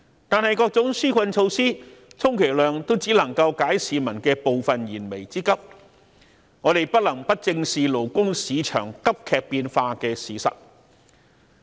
但是，各種紓困措施充其量只能夠解市民的部分燃眉之急，我們不能不正視勞工市場急劇變化的事實。